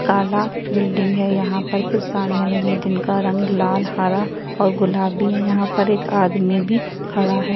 काला बिल्डिंग है यहाँ पर कुछ साड़ियाँ लगी है जिनका रंग लाल हरा और गुलाबी है यहाँ पर एक आदमी भी खड़ा हैं।